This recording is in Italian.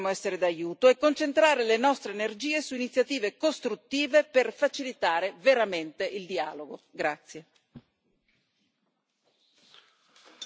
Quindi noi dobbiamo muoverci in accordo con ambo le parti, se vogliamo essere d'aiuto, e concentrare le nostre energie su iniziative costruttive per facilitare veramente il dialogo.